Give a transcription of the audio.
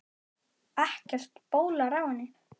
Ekkert bólar á henni.